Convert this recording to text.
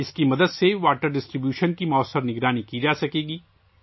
اس کی مدد سے پانی کی تقسیم کی موثر نگرانی کی جا سکتی ہے